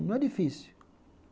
Não é difícil.